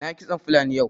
Na yi kitson fulani yau